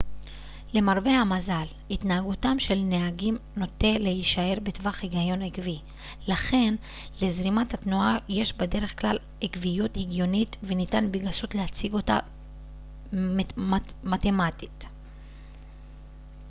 למרבה המזל התנהגותם של נהגים נוטה להישאר בטווח הגיון עקבי לכן לזרימת התנועה יש בדרך-כלל עקביות הגיונית וניתן בגסות להציג אותה מתמטית